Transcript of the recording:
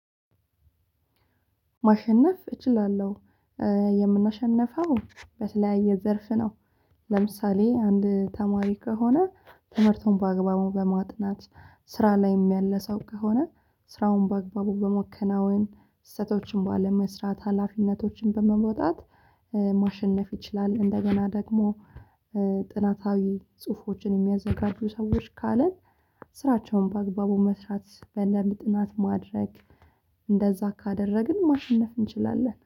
ማሸነፍ እችላለሁ። የምናሸንፈው በተለያየ ዘርፍ ነው። ለምሳሌ አንድ ተማሪ ከሆነ ትምህርቱን በአግባቡ በማጥናት ስራ ላይም ያለ ሰው ከሆነ ስራውን በአግባቡ በማከናወን ስህተቶችን ባለመስራት ሀላፊነቶችን በመውጣት። ማሸነፍ ይችላል እንደገና ደግሞ። ጥናታዊ ጽሁፎችን የሚያዘጋጁ ሰዎች ካለን ስራቸውን በአግባቡ መስራት በደምብ ጥናት ማድረግ። እንደዛ ካደረግን ማሸነፍ እንችላለን